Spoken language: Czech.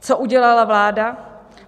Co udělala vláda?